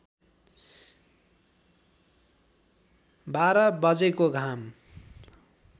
बाह्र बजेको घाम